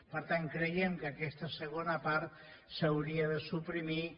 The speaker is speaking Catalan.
per tant creiem que aquesta segona part s’hauria de suprimir